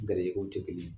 Garijɛgɛw tɛ kelen ye